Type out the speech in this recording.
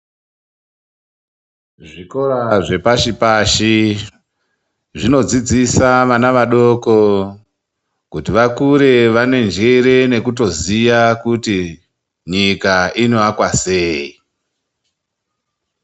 Zvikora zvepashi pashi, zvinodzidzisa vana vadoko kuti vakure vanenjere nekutoziya kuti nyikwa ino akwa seyi.